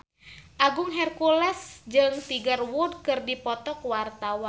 Agung Hercules jeung Tiger Wood keur dipoto ku wartawan